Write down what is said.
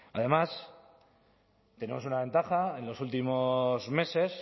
además tenemos una ventaja en los últimos meses